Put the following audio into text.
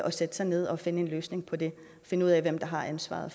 at sætte sig ned og finde en løsning på det og finde ud af hvem der har ansvaret